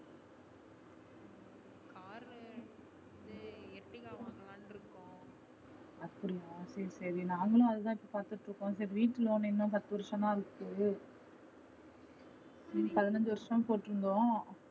அப்டியா சரி சரி நாங்களும் அதுதா பாத்துட்டு இருக்கோம். சரி வீட்டு loan இன்னும் பத்து வருஷம்தான் இருக்கு பதினைந்து வருஷம் போட்டுயிருந்தோம்.